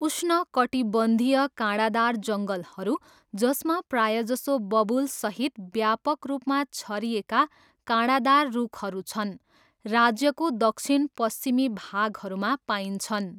उष्णकटिबन्धीय काँडादार जङ्गलहरू, जसमा प्रायजसो बबुलसहित व्यापक रूपमा छरिएका काँडादार रूखहरू छन्, राज्यको दक्षिणपश्चिमी भागहरूमा पाइन्छन्।